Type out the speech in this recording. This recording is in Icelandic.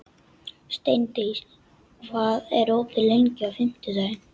Steindís, hvað er opið lengi á fimmtudaginn?